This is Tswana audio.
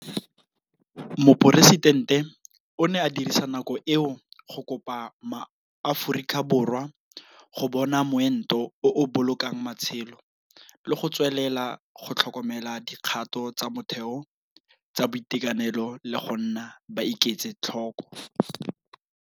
Moporesidente o ne a dirisa nako eo go kopa MaAforika Borwa go bona moento o o bolokang matshelo le go tswelela go tlhokomela dikgato tsa motheo tsa boitekanelo le go nna ba iketse tlhoko.